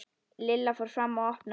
Lilla fór fram og opnaði.